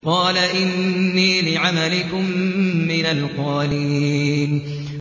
قَالَ إِنِّي لِعَمَلِكُم مِّنَ الْقَالِينَ